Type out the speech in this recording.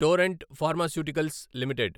Torrent Pharmaceuticals limited